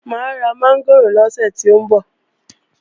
Mà á ra mọ́ngòrò lọ́sẹ̀ tó ń bọ̀